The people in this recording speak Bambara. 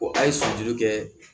a ye sujuru kɛ